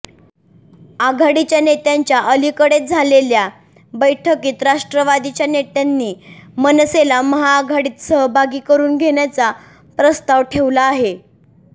आघाडीच्या नेत्यांच्या अलिकडेच झालेल्या बैठकीत राष्ट्रवादीच्या नेत्यांनी मनसेला महाआघाडीत सहभागी करून घेण्याचा प्रस्ताव ठेवला आहे